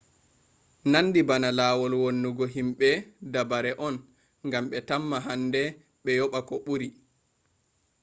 nandi bana lawol wannugo himbe dabare on gam be tamma hande be yoba ko buri